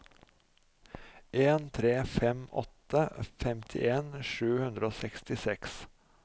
en tre fem åtte femtien sju hundre og sekstiseks